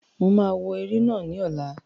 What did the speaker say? Mo ma wò eré náà ní ọ̀la